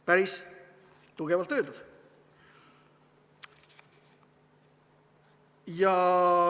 Päris tugevalt öeldud.